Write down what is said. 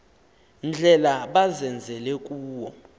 ndlela bazenzele kuwo